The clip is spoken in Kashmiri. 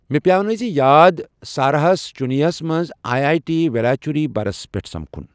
مےٚ پیٛانٲوۍزِ یاد سارہَس چننَیس منٛز آیی آٮیی ٹی ویلاچری برس پٮ۪ٹھ سمکھن